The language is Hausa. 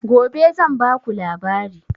Gobe zan ba ku labari